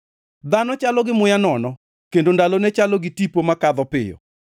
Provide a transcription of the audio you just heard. Dhano chalo gi muya nono kendo ndalone chalo gi tipo makadho piyo.